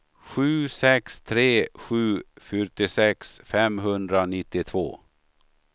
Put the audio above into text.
sju sex tre sju fyrtiosex femhundranittiotvå